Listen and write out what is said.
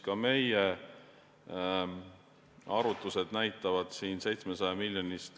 Ka meie arvutused näitavad siin 700 miljonit.